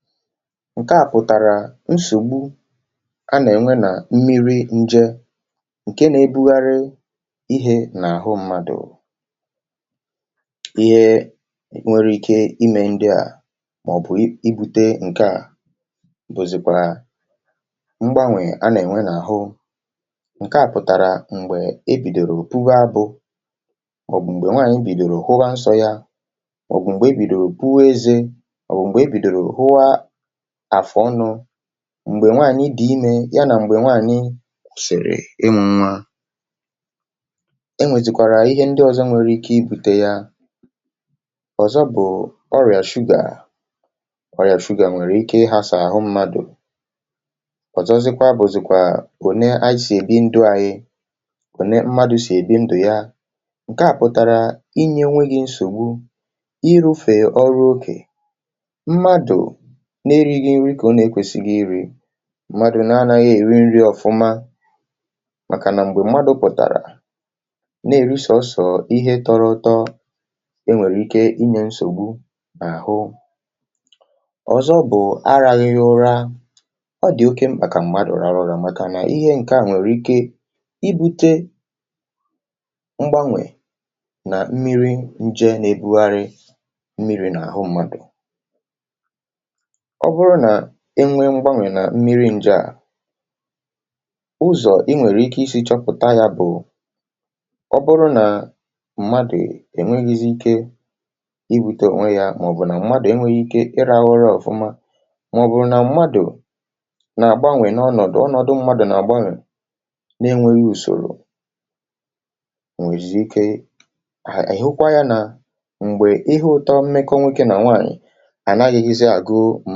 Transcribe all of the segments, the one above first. Nke a pụtara na e nwere mgbanwụ na-eme n’ime mmiri ahụ na-agagharị n’ahụ mmadụ. Mgbanwụ ndị a nwere ike imetụta ndị mmadụ n’ụzọ dị iche iche ma ọ bụ kpatara ọrịa ọhụrụ. Nke a na-ezo kwa aka n’ihe na-eme mgbe nwaanyị bidoro ịhụ nsọ ya, ma ọ bụ mgbe ọ na-amalite ịhụ oge ọnwa ya, nakwa mgbe ọ na-amalite ịkụ eze, um mgbe ọ dị ime, ma ọ bụ mgbe ọ mụrụ nwa. E nwekwara ihe ndị ọzọ nwere ike ibute ụdị mgbanwụ ndị a. Otu n’ime ha bụ ọrịa shuga. Ọrịa shuga nwere ike imetụta ahụ mmadụ ma kpatakwa nsogbu ndị ọzọ. Ọ na-adaberekwa n’otú anyị si ebi ndụ anyị. Otú mmadụ si ebi ndụ ya nwere nnukwu mmetụta n’ihe a. Nke a pụtara na mgbe mmadụ enweghị nnukwu nrụgide, um na-arụ ọrụ n’oke, ma na-eri nri nke ọma, ahụ ya na-adị mma. Mgbe mmadụ anaghị eri nri nke ọma, ma ọ bụ na-eri naanị ihe ụtọ, o nwere ike ibute nsogbu n’ahụ. Ihe ọzọ bụ na mmadụ anaghị ezu ike ma ọ bụ na ọ naghị ehi ụra nke ọma. Ọ dị ezigbo mkpa ka mmadụ zuru ike nke ọma, n’ihi na ihe ndị a nwere ike ibute mgbanwụ n’ime mmiri ahụ na-agagharị n’ahụ mmadụ. Ọ bụrụ na e nwere mgbanwụ n’ime mmiri ahụ, um a ga-ahụ ya mgbe mmadụ anaghịzi enwe ike ime ọrụ ya nke ọma, ma ọ bụ mgbe mmadụ enweghị ike ịrụ ọrụ nri nke ọma, [lma ọ bụ mgbe ahụ mmadụ na-agbanwe n’emeghị usoro. A pụkwara ịhụ ya mgbe, n’oge mmekọahụ dị n’etiti nwoke na nwaanyị, um e nwere ihe na-egosi na e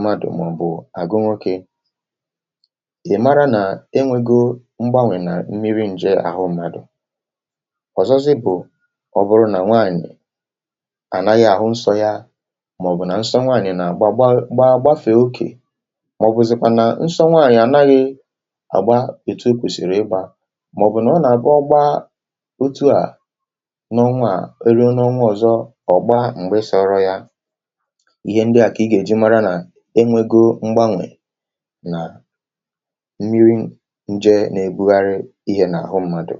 nwere mgbanwụ emeela n’ime mmiri ahụ n’ahụ mmadụ. Ihe ọzọ bụ mgbe nwaanyị kwụsịrị ịhụ oge ọnwa ya, ma ọ bụ mgbe nsọ ya na-adị iche ma ọ bụ na ọ na-aga ogologo oge, gafee oge kwesịrị ekwesị, ma ọ bụ kwụsịtụ ma laghachi mgbe e mesịrị. Ihe niile ndị a jikọtara ọnụ na mgbanwụ na-eme n’ime mmiri ahụ na-agagharị n’ahụ mmadụ.